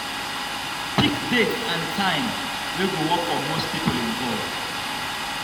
pick date and time wey go work for most people involved